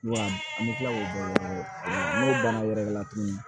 Wa an bɛ tila k'o bɔ n'o bana wɛrɛ ye tuguni